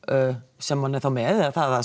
sem hann er þá með eða það